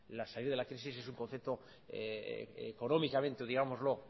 salir de la crisis es un concepto económicamente y